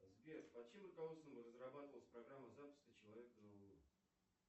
сбер под чьим руководством разрабатывалась программа запуска человека на луну